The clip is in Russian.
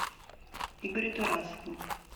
игорю тарасову